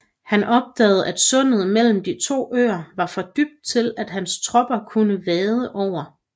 Han opdagede at sundet mellem de to øer var for dybt til at hans tropper kunne vade over